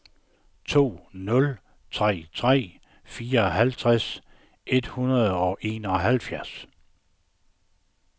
to nul tre tre fireoghalvfjerds et hundrede og enoghalvfjerds